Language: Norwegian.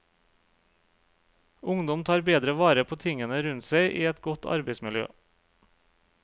Ungdom tar bedre vare på tingene rundt seg i et godt arbeidsmiljø.